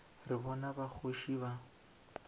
re bana ba kgoši ba